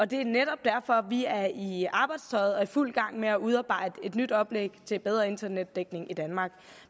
det er netop derfor at vi er i i arbejdstøjet og i fuld gang med at udarbejde et nyt oplæg til bedre internetdækning i danmark